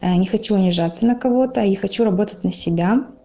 не хочу унижаться на кого-то и хочу работать на себя